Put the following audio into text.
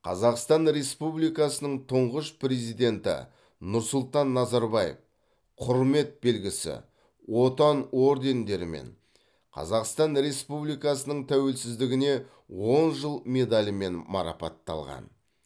қазақстан республикасының тұңғыш президенті нұрсұлтан назарбаев құрмет белгісі отан ордендерімен қазақстан республикасының тәуелсіздігіне он жыл медалімен марапатталған